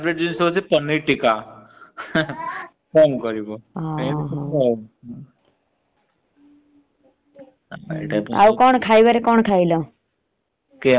ହଁ ଆଉ ଖାଇବାରେ କଣ ଖାଇଲା?